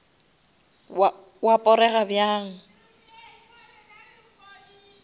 wa porega bjang